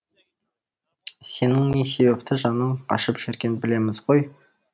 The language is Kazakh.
сенің не себепті жаның ашып жүрген білеміз ғой